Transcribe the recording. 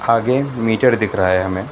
आगे मीटर दिख रहा है हमें।